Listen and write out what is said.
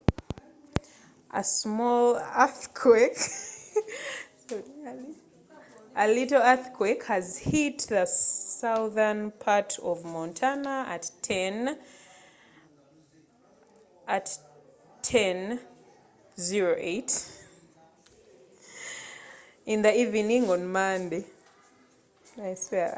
musisi omutonotono yayugumiza obukiika konno bwa montana ku saawa 10:08 ez'olwegulo ku balaza